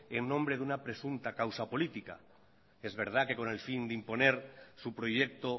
en nombre de una presunta causa política es verdad que con el fin de imponer su proyecto